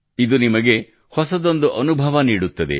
ಇದು ನಿಮಗೆ ಹೊಸದಂದು ಅನುಭವ ನೀಡುತ್ತದೆ